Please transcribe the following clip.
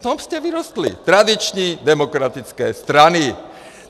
V tom jste vyrostli - tradiční demokratické strany!